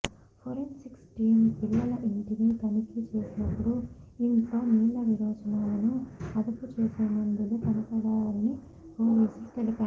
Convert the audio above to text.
forensic team పిల్లల ఇంటిని తనిఖీ చేసినప్పుడు ఇంట్లో నీళ్ల విరేచనాలను అదుపు చేసే మందులు కనపడ్డాయని పోలీసులు తెలిపారు